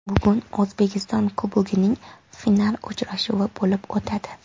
Bugun O‘zbekiston Kubogining final uchrashuvi bo‘lib o‘tadi.